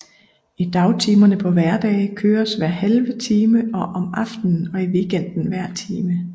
I dagtimerne på hverdage køres hver halve time og om aftenen og i weekenden hver time